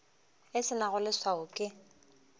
e se nago leswao ke